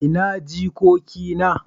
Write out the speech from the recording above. ina jikoki na?